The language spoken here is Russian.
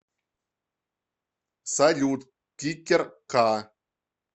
салют кикер ка